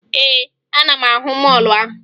Ee, ana m ahụ mọọlụ ahụ